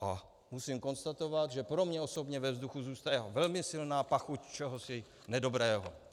A musím konstatovat, že pro mě osobně ve vzduchu zůstává velmi silná pachuť čehosi nedobrého.